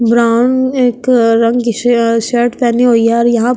brown एक रंग की श-शर्ट पहनी हुई है और यहां --